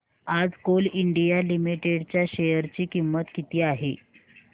आज Coal India Limited च्या share ची किंमत किती आहे